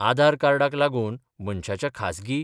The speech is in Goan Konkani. आधार कार्डाक लागुन मनशाच्या खासगी